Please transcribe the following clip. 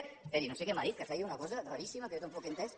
esperi no sé què m’ha dit que feia una cosa raríssima que jo tampoc he entès